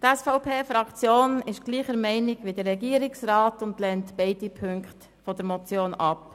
Die SVP-Fraktion ist derselben Meinung wie der Regierungsrat und lehnt beide Ziffern der Motion ab.